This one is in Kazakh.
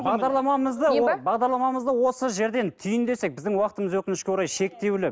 бағдарламамызды мен бе бағдарламамызды осы жерден түйіндесек біздің уақытымыз өкінішке орай шектеулі